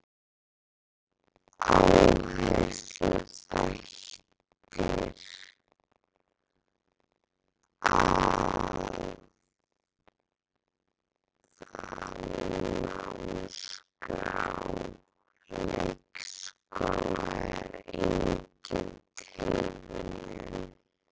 Áhersluþættir Aðalnámskrár leikskóla er engin tilviljun.